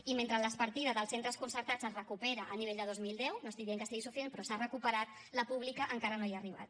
i mentre la partida dels centres concertats es recuperen a nivell de dos mil deu no estic dient que sigui suficient però s’ha recuperat la pública encara no hi ha arribat